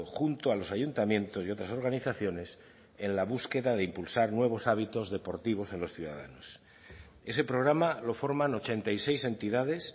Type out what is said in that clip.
junto a los ayuntamientos y otras organizaciones en la búsqueda de impulsar nuevos hábitos deportivos en los ciudadanos ese programa lo forman ochenta y seis entidades